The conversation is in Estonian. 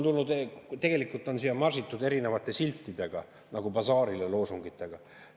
Siia on marsitud erinevate siltidega, nagu basaarile loosungitega.